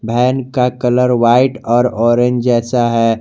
Van का colour white और orange जैसा है।